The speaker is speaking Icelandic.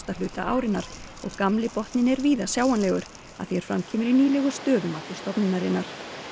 hluta árinnar og gamli botninn er víða sjáanlegur að því er fram kemur í nýlegu stöðumati stofnunarinnar